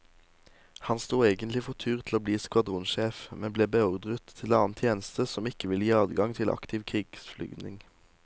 Han sto egentlig for tur til å bli skvadronssjef, men ble beordret til annen tjeneste som ikke ville gi adgang til aktiv krigsflyvning.